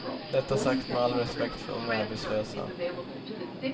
Detta sagt med all respekt för unga arbetslösa.